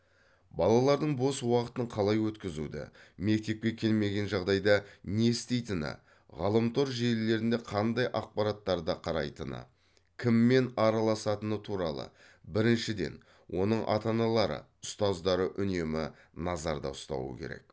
балалардың бос уақытын қалай өткізуді мектепке келмеген жағдайда не істейтіні ғаламтор желілерінде қандай ақпараттарды қарайтыны кіммен араласатыны туралы біріншіден оның ата аналары ұстаздары үнемі назарда ұстауы керек